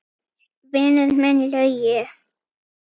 Vinur minn Laugi!